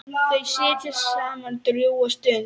Þau sitja saman drjúga stund.